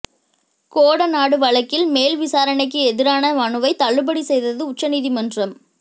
கோடநாடு வழக்கில் மேல் விசாரணைக்கு எதிரான மனுவை தள்ளுபடி செய்தது உச்சநீதிமன்றம்